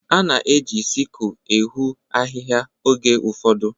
A na-eji siku ehoo ahịhịa oge ụfọdụ.